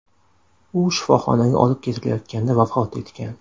U shifoxonaga olib ketilayotganda vafot etgan.